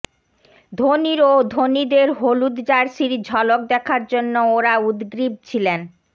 ধোনির ও ধোনিদের হলুদ জার্সির ঝলক দেখার জন্য ওঁরা উদগ্রীব ছিলেন